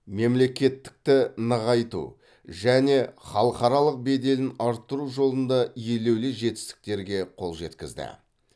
мемлекеттікті нығайту және халықаралық беделін арттыру жолында елеулі жетістіктерге қол жеткізді